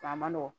A ma nɔgɔn